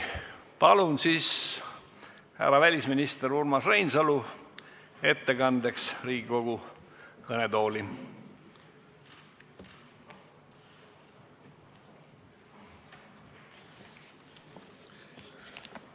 Palun härra välisminister Urmas Reinsalu ettekandeks Riigikogu kõnetooli!